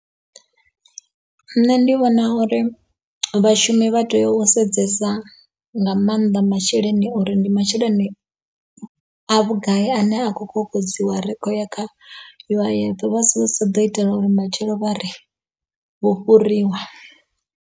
Nṋe ndi vhona uri vhashumi vha tea u sedzesa nga maanḓa masheleni uri ndi masheleni a vhugai ane a kho kokodziwa rikho ya kha U_I_F vha sado ita uri matshelo vhari vho fhuriwa.